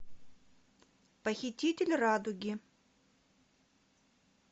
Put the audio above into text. похититель радуги